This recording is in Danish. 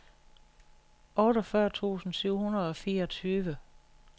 otteogfyrre tusind syv hundrede og fireogtyve